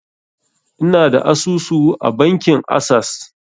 Ina da asusu a bankin assas